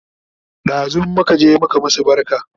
Ɗazun muka je muka masu barka